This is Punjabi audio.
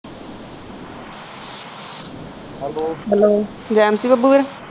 hello jam